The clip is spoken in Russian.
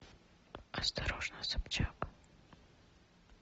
осторожно собчак